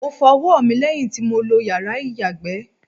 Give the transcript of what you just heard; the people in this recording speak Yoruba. Mo fọ ọwọ́ mi lẹ́yìn tí lo yàrá ìyàgbẹ́.